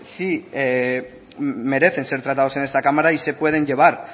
sí merecen ser tratados en esta cámara y se pueden llevar